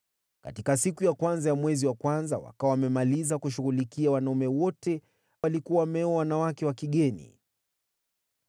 Katika siku ya kwanza ya mwezi wa kwanza wakawa wamemaliza kushughulikia wanaume wote waliokuwa wameoa wanawake wa kigeni.